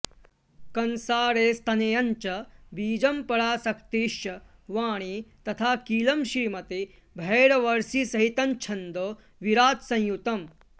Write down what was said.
कंसारेस्तनयञ्च बीजमपरा शक्तिश्च वाणी तथा कीलं श्रीमति भैरवर्ष्षिसहितञ्छन्दो विराट्संयुतम्